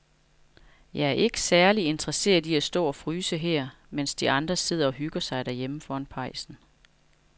Jeg er ikke særlig interesseret i at stå og fryse her, mens de andre sidder og hygger sig derhjemme foran pejsen.